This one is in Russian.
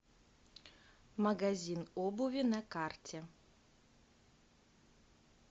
магазин обуви на карте